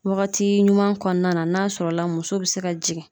Wagati ɲuman kɔnɔna na n'a sɔrɔ la muso be se ka jigin